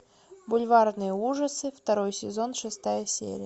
бульварные ужасы второй сезон шестая серия